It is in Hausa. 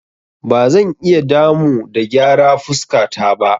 Ba zan iya damu da gyara fuskata ba.